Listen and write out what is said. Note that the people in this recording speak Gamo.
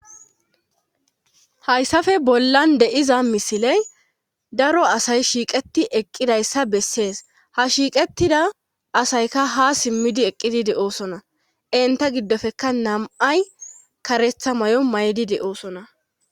hayssafe bollan de7iza misiley daro asay shiiqeti eqqidayssa bessees ha shiiqettida asayka ha simmidi eqqidi de7oosona enta giddofekka nam7ay karetha mayo mayidi de7oosona.